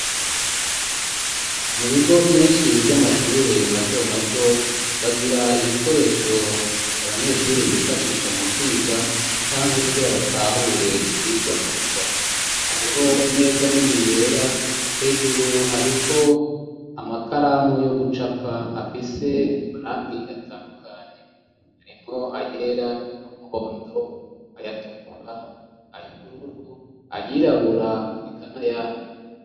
Mu bigo vyinshi vy'amashure mato mato ,bagira ibikoresho abanyeshuri bifashisha mu kwiga ,canke kugira batahure ivyigwa neza ,hariho imeza nini yera, hejuru hariko amakaramu yo gucapa afise amarangi atandukanye, arimwo ayera ,umuhondo, ayatukura ,ayubururu, ayirabura ,ekana yandi..